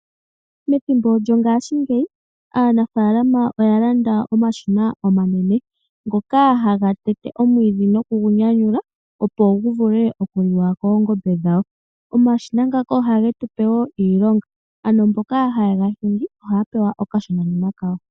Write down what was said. Methimbo lyongaashi ngeyi aanafalama oya landa omashina omanene ngoka haga tete omwiidhi nokugunyanyula opo gu vule okuliwa koongombe dhawo. Omashina ngaka oha ge tu pe wo iilonga, mboka haye ga hingi ohaya pewa okashonanima kawo.